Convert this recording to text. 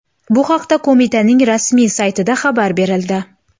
Bu haqda qo‘mitaning rasmiy saytida xabar berildi .